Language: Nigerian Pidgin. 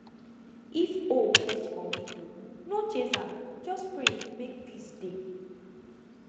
if owl perch for window no chase am just pray make peace dey